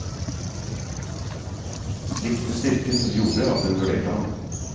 Likte styrken som gjorde at hun vurderte ham.